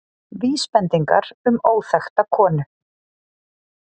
Vísbendingar um óþekkta konu